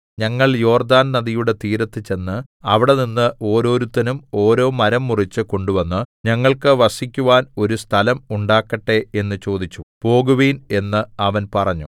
ഞങ്ങൾ യോർദ്ദാൻ നദിയുടെ തീരത്ത് ചെന്ന് അവിടെനിന്ന് ഓരോരുത്തനും ഓരോ മരം മുറിച്ച് കൊണ്ടുവന്ന് ഞങ്ങൾക്ക് വസിക്കുവാൻ ഒരു സ്ഥലം ഉണ്ടാക്കട്ടെ എന്ന് ചോദിച്ചു പോകുവിൻ എന്ന് അവൻ പറഞ്ഞു